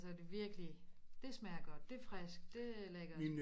Altså det virkelig det smager godt det friskt det lækkert